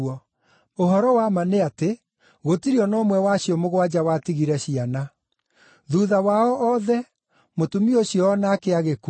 Ũhoro wa ma nĩ atĩ, gũtirĩ o na ũmwe wa acio mũgwanja watigire ciana. Thuutha wao othe, mũtumia ũcio o nake agĩkua.